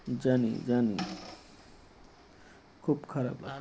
জানি জানি খুব খারাপ